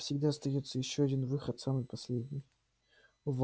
всегда остаётся ещё один выход самый последний